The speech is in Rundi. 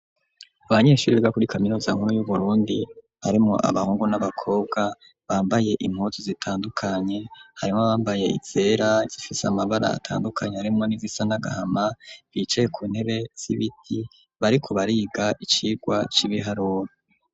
Abanyeshuri biga kuri kaminuza nkuru y'Uburundi harimwo abahungu n'abakobwa bambaye impuzu zitandukanye harimwo abambaye izera zifise amabara atandukanye harimwo n'izisa n'agahama bicaye ku ntebe z'ibiti bariko bariga icigwa c'ibiharuro.